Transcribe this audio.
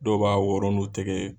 Dɔw b'a wɔrɔn nu tɛgɛ ye.